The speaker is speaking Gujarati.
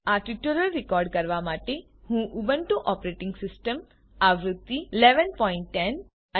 આ ટ્યુટોરીયલને રેકોર્ડ કરવા માટે હું ઉબુન્ટુ ઓપરેટીંગ સીસ્ટમ આવૃત્તિ ૧૧૧૦ અને